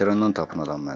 Lənkərannan tapın adam mənə.